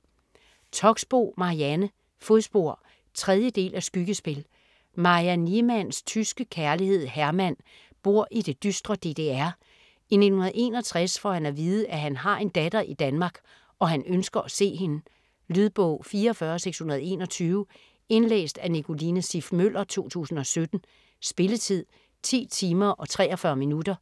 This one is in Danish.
Toxboe, Marianne: Fodspor 3. del af Skyggespil. Maja Niemanns tyske kærlighed Hermann bor i det dystre DDR. I 1961 får han at vide, at han har en datter i Danmark og han ønsker at se hende. Lydbog 44621 Indlæst af Nicoline Siff Møller, 2017. Spilletid: 10 timer, 43 minutter.